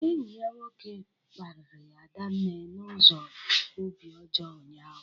Enyi ya nwoke kparịrị Adanne n'ụzọ obi ọjọọ ụnyaahụ